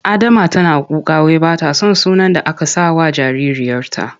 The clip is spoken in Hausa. Adama tana kuka wai ba ta son sunan da aka sakawa jaririyarta.